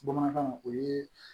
Bamanankan o yee